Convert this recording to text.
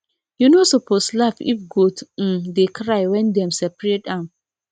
you no suppose laugh if goat um dey cry when dem separate am